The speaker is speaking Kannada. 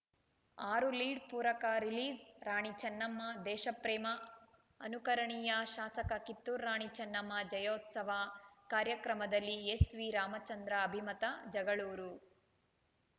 ಆರು ಲೀಡ್‌ ಪೂರಕ ರಿಲೀಸ್‌ರಾಣಿ ಚೆನ್ನಮ್ಮ ದೇಶಪ್ರೇಮ ಅನುಕರಣೀಯ ಶಾಸಕ ಕಿತ್ತೂರು ರಾಣಿ ಚೆನ್ನಮ್ಮ ಜಯಂತ್ಯೋತ್ಸವ ಕಾರ್ಯಕ್ರಮದಲ್ಲಿ ಎಸ್‌ವಿರಾಮಚಂದ್ರ ಅಭಿಮತ ಜಗಳೂರು